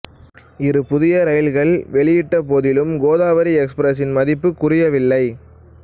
இரு புதிய இரயில்கள் வெளியிடப்பட்டபோதிலும் கோதாவரி எக்ஸ்பிரஸின் மதிப்பு குறையவில்லை